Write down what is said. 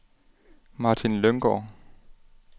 Martin Lynggaard